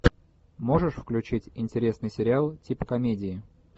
можешь включить интересный сериал типа комедии